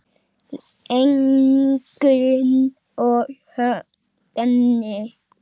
Ingunn og Högni.